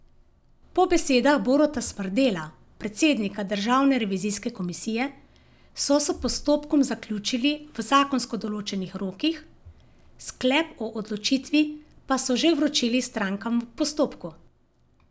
Po besedah Boruta Smrdela, predsednika Državne revizijske komisije, so s postopkom zaključili v zakonsko določenih rokih, sklep o odločitvi pa so že vročili strankam v postopku.